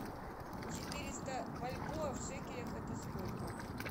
четыреста бальбоа в шекелях это сколько